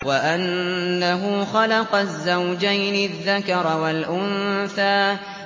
وَأَنَّهُ خَلَقَ الزَّوْجَيْنِ الذَّكَرَ وَالْأُنثَىٰ